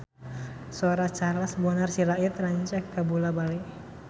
Sora Charles Bonar Sirait rancage kabula-bale